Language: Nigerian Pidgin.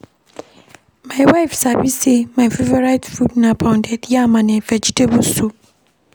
My wife sabi sey my favourite food na pounded yam and vegetable soup.